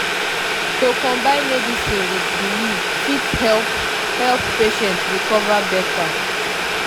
to combine medicine with belief fit help help patient recover better.